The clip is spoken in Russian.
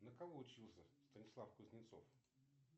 на кого учился станислав кузнецов